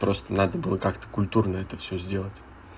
просто надо было как-то культурно это всё сделать